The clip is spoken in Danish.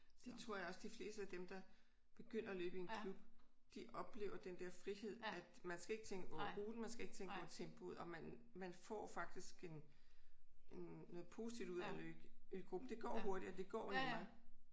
Det tror jeg også de fleste af dem der begynder at løbe i en klub de oplever den der frihed at man skal ikke tænke over ruten og man skal ikke tænke over tempoet og man man får faktisk en noget positivt ud af det i gruppen. Det går hurtigere og nemmere